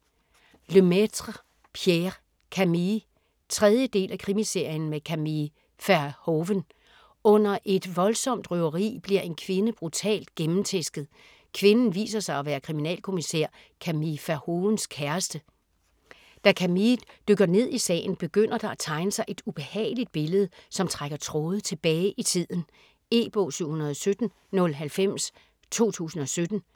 Lemaitre, Pierre: Camille 3. del af Krimiserien med Camille Verhoeven. Under et voldsomt røveri bliver en kvinde brutalt gennemtæsket. Kvinden viser sig at være kriminalkommissær Camille Verhoevens kæreste. Da Camille dykker ned i sagen, begynder der at tegne sig et ubehageligt billede, som trækker tråde tilbage i tiden. E-bog 717090 2017.